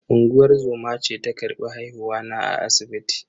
Unguwar zoma ce ta karbi haihuwa na a asibiti.